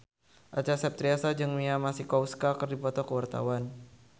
Acha Septriasa jeung Mia Masikowska keur dipoto ku wartawan